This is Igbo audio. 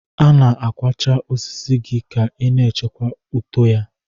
Ị na-akwacha osisi gị ka ị na-echekwa uto gị.